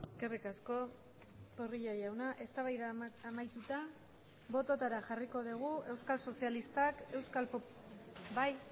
eskerrik asko zorrilla jauna eztabaida amaituta bototara jarriko dugu euskal sozialistak euskalbai